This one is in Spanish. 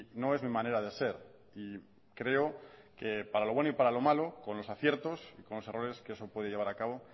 no es mi manera de ser y creo que para lo bueno y para lo malo con los aciertos y con los errores que eso puede llevar a cabo